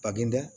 Ka bin dɛ